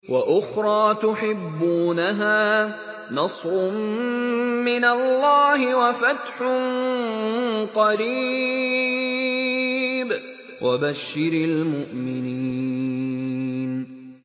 وَأُخْرَىٰ تُحِبُّونَهَا ۖ نَصْرٌ مِّنَ اللَّهِ وَفَتْحٌ قَرِيبٌ ۗ وَبَشِّرِ الْمُؤْمِنِينَ